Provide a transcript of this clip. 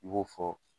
I b'o fɔ